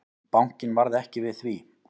Bankinn varð ekki við því.